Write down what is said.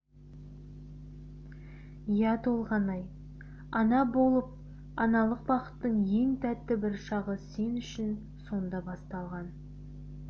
иә толғанай ана болып аналық бақыттың ең тәтті бір шағы сен үшін сонда басталған